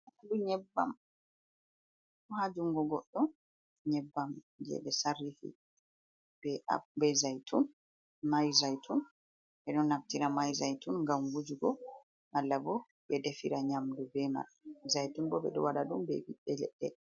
Fandu nyebbam haa jungo goɗɗo, nyebbam je ɓ@e sarrifi be zaitun, mayzaitun. Ɓe ɗon naftira mayzaitun ngam wujugo, malla bo ɓe defira nyamdu, zaytun bo ɓe ɗo waɗa ɗum be ɓiɓɓe leɗɗe.